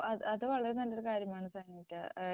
ഓ അത് അത് വളരെ നല്ലൊരു കാര്യമാണ് സനീറ്റ.